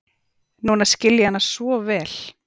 Núna skil ég hana svo vel.